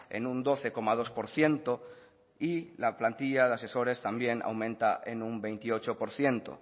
en un doce coma dos por ciento y la plantilla de asesores también aumenta en un veintiocho por ciento